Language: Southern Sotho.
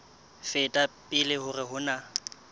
feta pele hore ho na